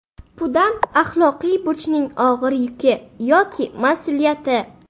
Pudam Axloqiy burchning og‘ir yuki yoki mas’uliyati.